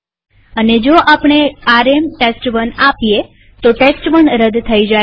અને જો આપણે આરએમ ટેસ્ટ1 આપીએ તો ટેસ્ટ1 રદ થઇ જાય છે